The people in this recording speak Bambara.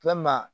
Walima